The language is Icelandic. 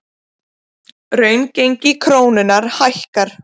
Raungengi krónunnar hækkar